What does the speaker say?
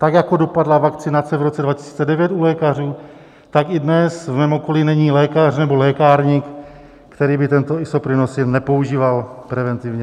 Tak jako dopadla vakcinace v roce 2009 u lékařů, tak i dnes v mém okolí není lékař nebo lékárník, který by tento Isoprinosin nepoužíval preventivně.